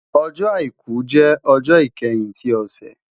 Ọjọ́-Àìkú jẹ ọjọ ikẹhin ti ọsẹ